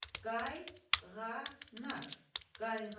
Qayğanaq, qayğanaq.